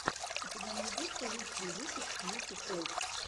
у тебя найдется лучший выпуск юпи тойс